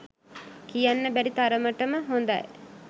කියන්න බැරි තරමටම හොදයි